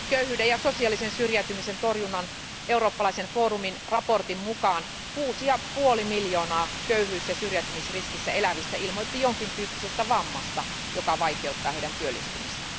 Köyhyyden ja sosiaalisen syrjäytymisen torjunnan eurooppalaisen forumin raportin mukaan 6,5 miljoonaa köyhyys ja syrjäytymisriskissä elävistä ilmoitti jonkintyyppisestä vammasta, joka vaikeuttaa heidän työllistymistään.